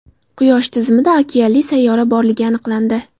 Quyosh tizimida okeanli sayyora borligi aniqlandi.